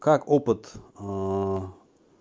как опыт